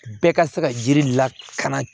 Bɛɛ ka se ka yiri lakana